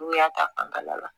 N'u y'a ta bana la